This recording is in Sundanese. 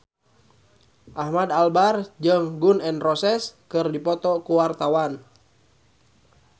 Ahmad Albar jeung Gun N Roses keur dipoto ku wartawan